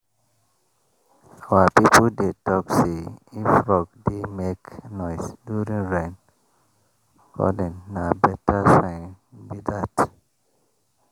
our people dey talk say if frog dey make noise during rain-calling na better sign be that.